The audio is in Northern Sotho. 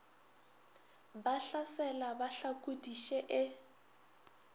ba hlasela ba hlakodiše e